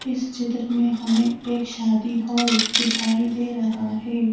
इस चित्र में हमें एक शादी हॉल दिखाई दे रहा है।